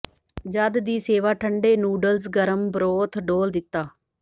ਜਦ ਦੀ ਸੇਵਾ ਠੰਡੇ ਨੂਡਲਜ਼ ਗਰਮ ਬਰੋਥ ਡੋਲ੍ਹ ਦਿੱਤਾ